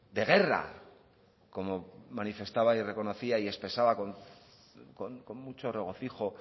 de guerra como manifestaba y reconocía y expresaba con mucho regocijo